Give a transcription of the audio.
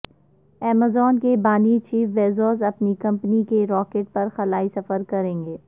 Amazon کے بانی Jeff Bezos اپنی کمپنی کے راکٹ پر خلائی سفر کریں گے